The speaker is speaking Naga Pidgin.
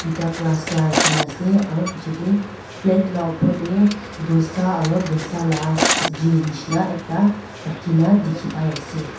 tui ta glass la rakhinaase aro pichae tae plate laopor tae dosa aro dosa la subji nishi na ekta rakhina dikhipaiase.